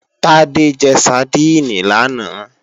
Tádé jẹ sadíìnì lánàá